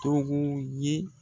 Togo ye.